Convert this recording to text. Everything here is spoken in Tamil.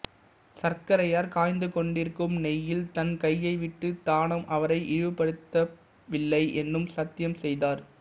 சர்க்கரையார் காய்ந்துகொண்டிருக்கும் நெய்யில் தன் கையை விட்டு தாம் அவரை இழிவுபடுத்தவில்லை என்று சத்தியம் செய்தார்